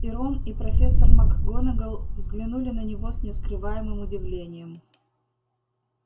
и рон и профессор макгонагалл взглянули на него с нескрываемым удивлением